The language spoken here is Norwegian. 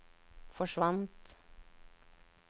forsvant